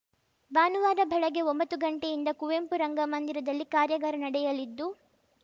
ಭಾನುವಾರ ಬೆಳಗ್ಗೆ ಒಂಬತ್ತು ಗಂಟೆಯಿಂದ ಕುವೆಂಪು ರಂಗಮಂದಿರದಲ್ಲಿ ಕಾರ್ಯಾಗಾರ ನಡೆಯಲಿದ್ದು